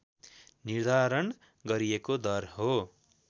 निर्धारण गरिएको दर हो